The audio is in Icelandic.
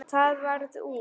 Það varð úr.